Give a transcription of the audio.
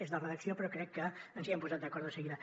és de redacció però crec que ens hi hem posat d’acord de seguida